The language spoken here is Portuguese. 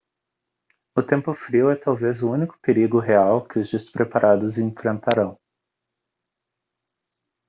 o tempo frio é talvez o único perigo real que os despreparados enfrentarão